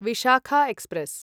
Vishakha express